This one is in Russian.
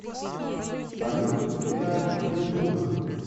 салют лиар ютуб